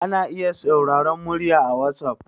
ana iya sauraron murya a wasof